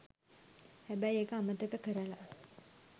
හැබැයි ඒක අමතක කරලා